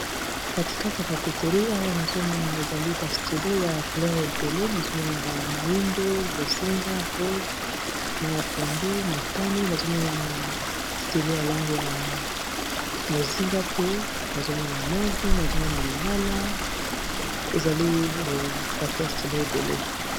katikate ya bapeterye awa nazomona ezali ba stilo ya couleur ebele nazomona ba moindo mozinga rose mai ya pondu motani nazomona na stilo ya lange ya mozinga pe nazomona move nazomona lilala ezali paket ya stilo ebele